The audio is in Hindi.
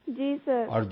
जी सर